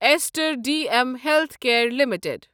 استر D M healthcare limited